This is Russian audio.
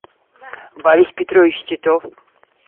борис петрович титов